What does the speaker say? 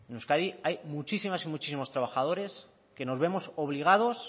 hay muchísimas y muchísimos trabajadores que nos vemos obligados